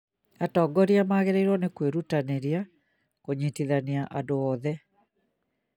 atongoria magĩrĩirwo nĩ kwĩrutanĩria kũnyitithania andũ othe